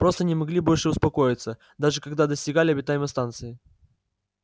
просто не могли больше успокоиться даже когда достигали обитаемой станции